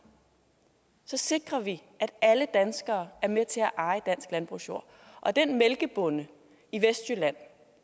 så sikrer vi at alle danskere er med til at eje dansk landbrugsjord den mælkebonde i vestjylland